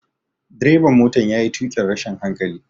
Direban motan ya yi tukin rashin hankali.